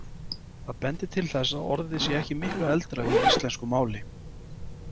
Það bendir til þess að orðið sé ekki miklu eldra í íslensku máli.